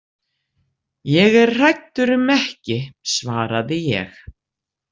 Ég er hræddur um ekki, svaraði ég.